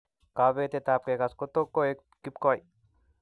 Kabetet ab kegas kotot koek kipkoi